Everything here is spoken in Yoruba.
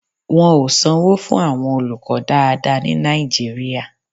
Wọn ò sanwó fún àwọn olùkọ́ dáadáa ní Nàìjíríà.